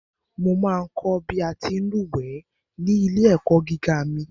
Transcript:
Mo ma ń kọ̀ bí a ti ń lúwẹ̀ẹ́ ní ilé-ẹ̀kọ́ gíga mi.